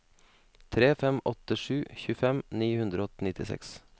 tre fem åtte sju tjuefem ni hundre og nittiseks